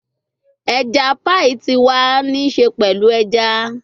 Eja paii ti wa ni ṣe pẹlu eja